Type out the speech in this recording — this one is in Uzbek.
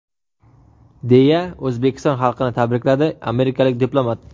deya O‘zbekiston xalqini tabrikladi amerikalik diplomat.